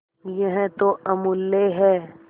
यह तो अमुल्य है